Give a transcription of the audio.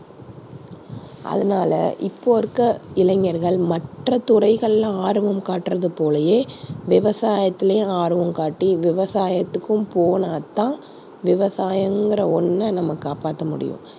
அதனால இப்போ இருக்கிற இளைஞர்கள் மற்ற துறைகள்ல ஆர்வம் காட்டுவது போலயே விவசாயத்துலயும் ஆர்வம் காட்டி விவசாயத்துக்கும் போனாத்தான் விவசாயம்ங்கிற ஒண்ணை நம்ம காப்பாத்த முடியும்.